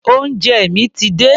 Oúnjẹ mi ti dé.